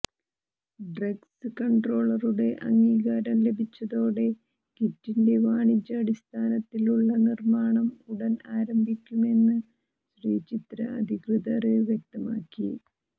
drugs കണ്ട്രോളറുടെ അംഗീകാരം ലഭിച്ചതോടെ കിറ്റിന്റെ വാണിജ്യാടിസ്ഥാനത്തിലുള്ള നിര്മാണം ഉടൻ ആരംഭിക്കുമെന്ന് ശ്രീചിത്ര അധികൃതര് വ്യക്തമാക്കി